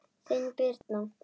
Þín, Birna.